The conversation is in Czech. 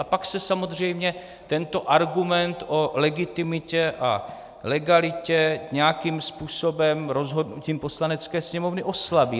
A pak se samozřejmě tento argument o legitimitě a legalitě nějakým způsobem rozhodnutím Poslanecké sněmovny oslabí.